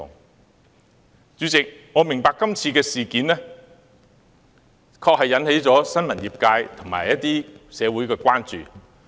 代理主席，我明白這次事件確實引起了新聞業界和一些社會人士的關注。